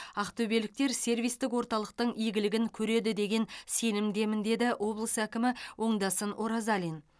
ақтөбеліктер сервистік орталықтың игілігін көреді деген сенімдемін деді облыс әкімі оңдасын оразалин